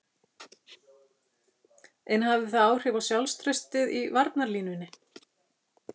En hafði það áhrif á sjálfstraustið í varnarlínunni?